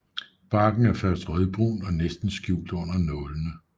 Barken er først rødbrun og næsten skjult under nålene